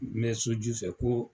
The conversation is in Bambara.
N bɛ so ju fɛ ko.